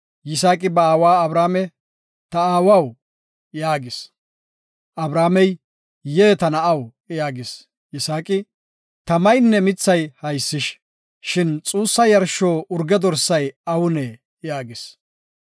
Yisaaqi ba aawa Abrahaame, “Ta aawaw” yaagis. Abrahaamey, “Yee, ta na7aw” yaagis. Yisaaqi, “Tamaynne mithay haysish; shin xuussa yarsho urge dorsay awunee?” yaagis.